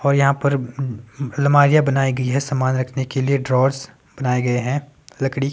और यहाँ पर अलमारियां बनाई गई हैं समान रखने के लिए ड्रॉर्स बनाए गए हैं लकड़ी--